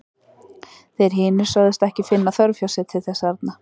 Þeir hinir sögðust ekki finna þörf hjá sér til þess arna.